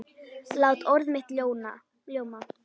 Lát orð mitt ljóma.